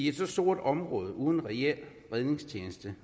et stort område uden reel redningstjeneste